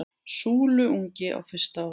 Súluungi á fyrsta ári.